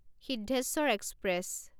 Siddheshwar express